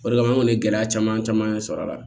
O de kama an kɔni ye gɛlɛya caman caman sɔrɔ a la